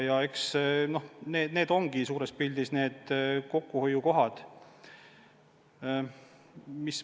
Eks suures pildis need ongi kokkuhoiukohad.